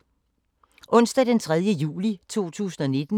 Onsdag d. 3. juli 2019